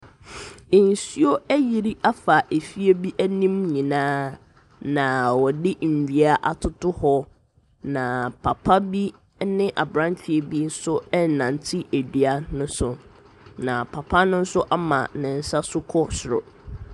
Nsuo ayiri afa efie bi anim nyinaa, na wɔde nnua atoto hɔ, na papa bi ne aberanteɛ bi nso renante dua no so, na papa no nso ama ne nsa so kɔ soro.